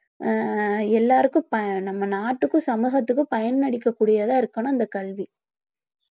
ஆஹ் எல்லாருக்கும் பய~ இந்த நாட்டுக்கும் சமூகத்துக்கும் பயனளிக்க கூடியதாக இருக்கணும் இந்த கல்வி